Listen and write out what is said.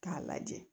K'a lajɛ